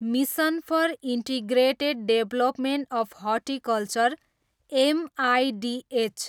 mission for integrated development of horticulture, MIDH